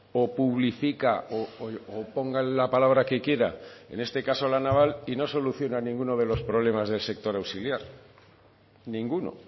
o publifica o pongan la palabra que quiera en este caso la naval y no solucionan ninguno de los problemas del sector auxiliar ninguno